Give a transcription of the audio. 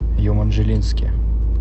еманжелинске